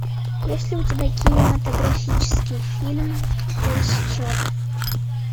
есть ли у тебя кинематографический фильм пересчет